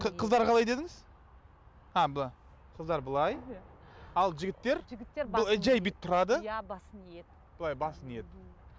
қыздар қалай дедіңіз қыздар былай ал жігіттер жай бүйтіп тұрады былай басын иеді